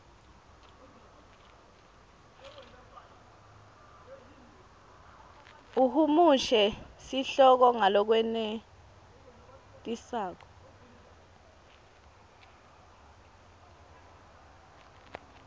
uhumushe sihloko ngalokwenetisako